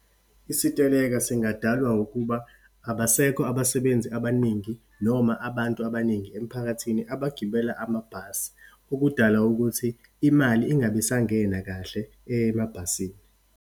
Isiteleka singadalwa ukuba, abasekho abasebenzi abaningi noma abantu abaningi emiphakathini abagibela amabhasi, okudala ukuthi imali ingabe isangena kahle emabhasini.